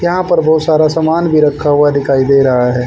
यहाँ पर बोहत सारा सामान भी रखा हुआ दिखाइ रहा है।